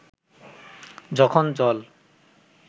যখন জল